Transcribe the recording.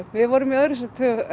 við vorum í öðru sæti